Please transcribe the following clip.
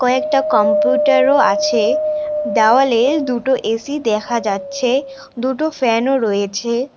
কয়েকটা কম্পিউটার -ও আছে দেওয়ালে দুটো এ_সি দেখা যাচ্ছে দুটো ফ্যান -ও রয়েছে।